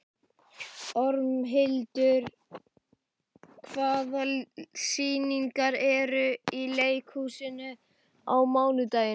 Ormhildur, hvaða sýningar eru í leikhúsinu á mánudaginn?